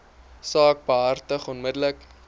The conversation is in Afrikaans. saak behartig onmiddellik